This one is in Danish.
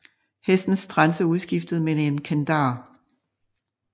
Hestens trense udskiftes med en kandar